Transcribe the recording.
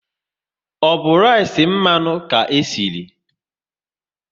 Ọ bụ rice mmanụ ka esiri?